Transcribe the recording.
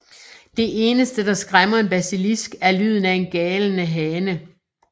Det eneste der skræmmer en Basilisk er lyden af en galende hane